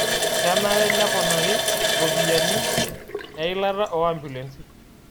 Kenare neponarii ropiyiani eilata oo ambulensi